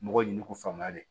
Mɔgɔw ɲini k'u faamuya de